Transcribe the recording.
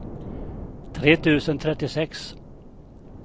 tre tusen trettiosex